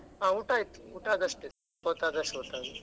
ಹಾ ಊಟ ಆಯ್ತ್, ಊಟ ಆದ್ದ್ ಅಷ್ಟೇ .